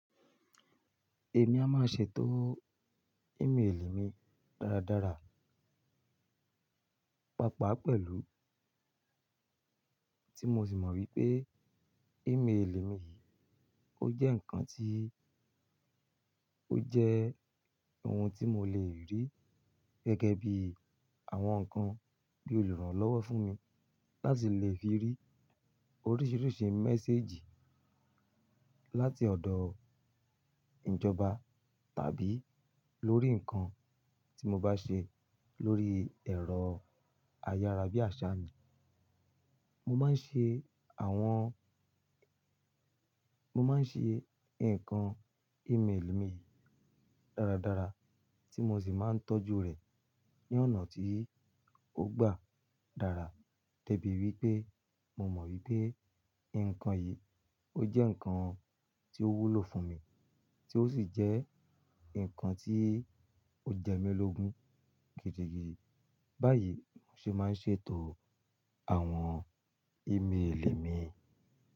Èmi a máa ṣe ètò email mi dáradára. Pàápàá pẹ̀lú, tí mo sì mọ̀ wípé email mi yìí ó jẹ́ ǹkan tí, ó jẹ́ ohun tí mo lè rí gẹ́gẹ́ bí àwọn ǹkan bí òlurànlọ́wọ́ fún mi láti lè fi rí oríṣiríṣi message láti ọ̀dọ̀ ìjọba tàbí lórí ǹkan tí mo bá ṣe lórí ẹ̀rọ ayárabíàṣá mi. Mo máa ń ṣe àwọn, mo máa ń ṣe nǹkan email mi dáradára tí mo sì máa ń tọ́jú rẹ̀ ní ọ̀nà tí ó gba dára. Dẹ́bi wípé mo mọ̀ wípé nǹkan yìí ó jẹ́ ǹkan tí ó wúlò fún mi, tí ó sì jẹ́ ǹkan tí ó jẹ́mi lógun gidigidi. Báyìí mo sì máa ń ṣètò àwọn email mi.